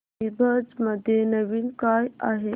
ईबझ मध्ये नवीन काय आहे